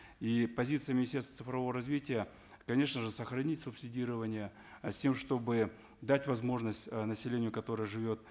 и позиция министерства цифрового развития конечно же сохранить субсидирование э с тем чтобы дать возможность э населению которое живет